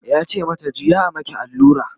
yace mata "juya a maki allura!"